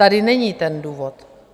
Tady není ten důvod.